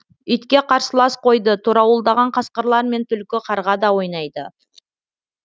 итке қарсылас қойды торауылдаған қасқырлар мен түлкі қарға да ойнайды